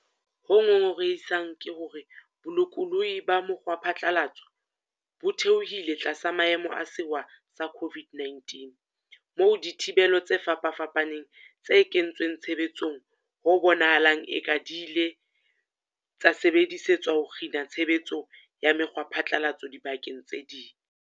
Ho ngongorehisang ke hore bolokolohi ba mokgwaphatla latso bo theohile tlasa maemo a sewa sa COVID-19, moo dithibelo tse fapafapaneng tse kentsweng tshebetsong ho bonahalang e ka di ile tsa sebedisetswa ho kgina tshe betso ya mekgwaphatlalatso dibakeng tse ngata.